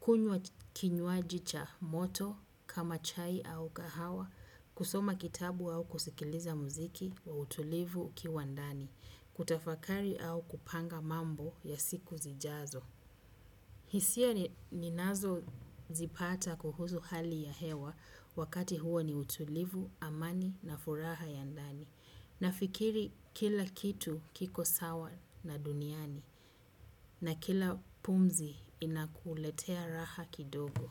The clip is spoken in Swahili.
kunywa kinywaji cha moto kama chai au kahawa, kusoma kitabu au kusikiliza muziki wa utulivu ukiwa ndani, kutafakari au kupanga mambo ya siku zijazo. Hisia ninazo zipata kuhusu hali ya hewa wakati huo ni utulivu, amani na furaha ya ndani. Nafikiri kila kitu kiko sawa na duniani na kila pumzi inakuletea raha kidogo.